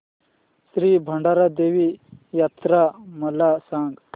श्री भराडी देवी यात्रा मला सांग